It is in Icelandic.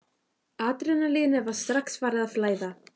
Adrenalínið var strax farið að flæða.